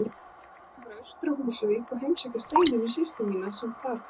Ég ákvað að fara austur á Húsavík og heimsækja Steinunni systur mína sem þar býr.